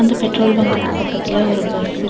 இந்த பெட்ரோல் பங்குக்கு பக்கத்துல ஒரு பஸ் இருக்கு.